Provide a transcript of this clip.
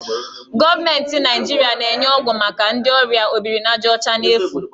Gọọmentị Naijiria na-enye ọgwụ maka ndị ọrịa obirinajaọcha n'efu.